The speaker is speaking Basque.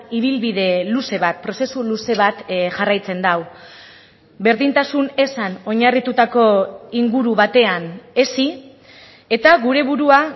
ibilbide luze bat prozesu luze bat jarraitzen du berdintasun ezan oinarritutako inguru batean hezi eta gure burua